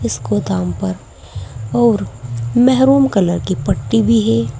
इस गोदाम पर और मेहरून कलर की पट्टी भी है।